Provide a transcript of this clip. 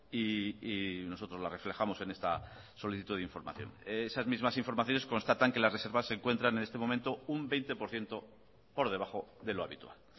y nosotros la reflejamos en esta solicitud de información esas mismas informaciones constatan que las reservas se encuentran en este momento un veinte por ciento por debajo de lo habitual